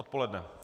Odpoledne.